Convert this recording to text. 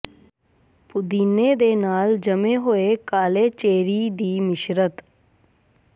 ਪੁਦੀਨੇ ਦੇ ਨਾਲ ਜੰਮੇ ਹੋਏ ਕਾਲੇ ਚੇਰੀ ਦੀ ਮਿਸ਼ਰਤ